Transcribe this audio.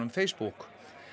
Facebook